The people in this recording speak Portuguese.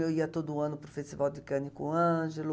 Eu ia todo ano para o Festival de Cannes com o Ângelo.